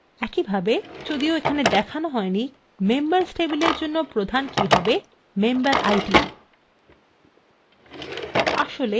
একইভাবে যদিও এখানে দেখানো হয়নি members table জন্য প্রধান key হবে memberid